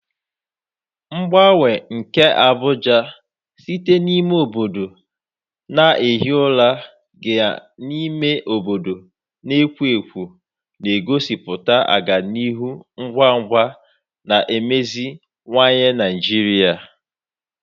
Mgbanwe nke Abuja site n'ime obodo na-ehi ụra gaa n'ime obodo na-ekwo ekwo na-egosipụta ọganihu ngwa ngwa na imeziwanye Naijiria.